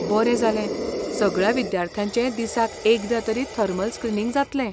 बरें जालें! सगळ्या विद्यार्थ्यांचें दिसाक एकदां तरी थर्मल स्क्रीनिंग जातलें.